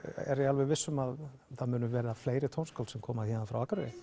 er ég alveg viss um að það muni verða fleiri tónskáld sem koma héðan frá Akureyri